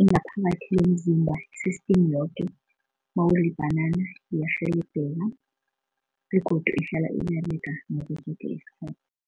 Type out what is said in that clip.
ingakho umakhiwo womzimba i-system yoke mawudla ibhanana iyarhelebheka begodu ihlala iberega ngaso soke isikhathi.